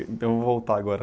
Então, vamos voltar agora.